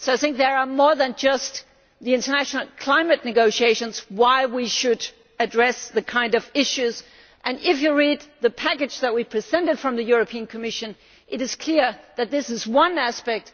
There are more reasons than just the international climate negotiations why we should address these kinds of issues, and if you read the package that we presented from the Commission it is clear that this is one aspect